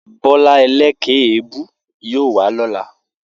Bó̩lá e̩lé̩kè̩é̩-èébú yóò wá ló̩la